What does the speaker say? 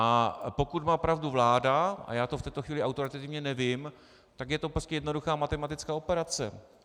A pokud má pravdu vláda, a já to v této chvíli autoritativně nevím, tak je to prostě jednoduchá matematická operace.